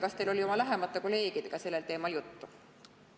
Kas teil oli oma lähemate kolleegidega sellel teemal juttu?